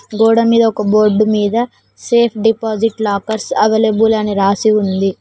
గోడ మీద ఒక బోర్డు మీద సేఫ్ డిపాజిట్ లాకర్స్ అవైలబుల్ అని రాసి ఉంది.